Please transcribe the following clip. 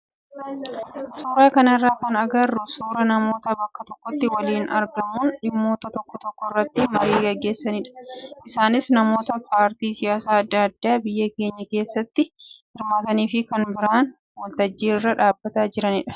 Suuraa kanarraa kan agarru suuraa namoota bakka tokkotti waliin argamuun dhimmoota tokko tokko irratti marii gaggeessanidha. Isaanis namoota paartii siyaasaa adda addaa biyya keenyaa keessatti hirmaatanii fi kaan bahanii waltajjii irra dhaabbataa jiranidha.